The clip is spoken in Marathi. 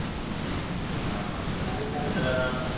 हा हा चांगले चांगले मित्रा